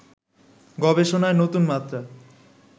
গবেষণায় নতুনমাত্রা